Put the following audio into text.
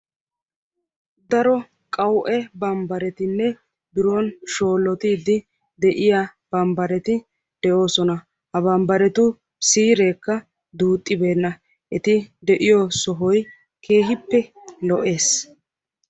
Daro qawu"e bambbaretinne biron shoollottiiddi de"iyaa bambbareti de'oosona. Ha bambbaretu siireekka duuxxibeenna. Eti de"iyo sohoy keehippe lo'ees.